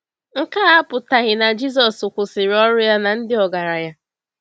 Nke a apụtaghị na Jisọs kwụsịrị ọrụ ya na ndị ọgaranya.